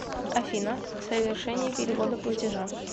афина совершение перевода платежа